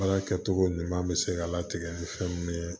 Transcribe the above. Baara kɛcogo ɲuman bɛ se ka latigɛ ni fɛn mun ye